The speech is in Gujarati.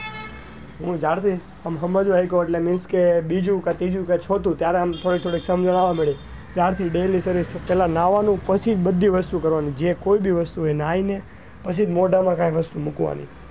હું જ્યાર થી સમજવા લાગ્યો એટલે means કે બીજું કે ત્રીજું કે ચોથું ત્યારે આમ થોડી થોડી સમજણ આવવા માંડી ત્યાર થી daily કરી પેલા નવા નું પછી જ બીજી વસ્તુ કરવા નું જ કોઈ બી વસ્તુ એ નાઈ ને પછી મોઢા માં મુકવાનું.